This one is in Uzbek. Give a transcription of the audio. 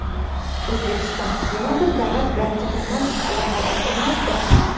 O‘zbekiston yana bir davlat bilan diplomatik aloqalar o‘rnatdi.